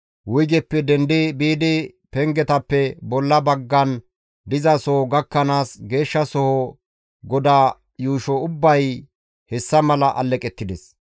Wuygeppe dendi biidi pengetappe bolla baggan dizasoho gakkanaas, Geeshshasoho goda yuusho ubbay hessa malan alleqettides.